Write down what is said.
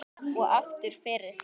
Og aftur fyrir sig.